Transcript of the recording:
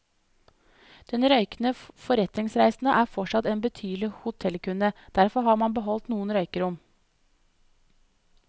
Den røykende forretningsreisende er fortsatt en betydelig hotellkunde, derfor har man beholdt noen røykerom.